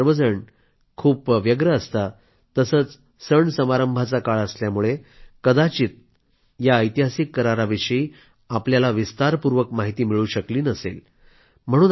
आपण सर्वजण खूप बिझी असता तसंच सण समारंभाचा काळ असल्यामुळे कदाचित तुम्हा सर्वांना या ऐतिहासिक कराराविषयी विस्तारपूर्वक माहिती मिळू शकली नसेल